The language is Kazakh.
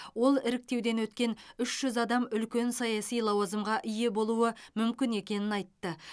ол іріктеуден өткен үш жүз адам үлкен саяси лауазымға ие болуы мүмкін екенін айтты